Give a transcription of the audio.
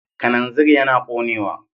Kananzir yana ƙonewa.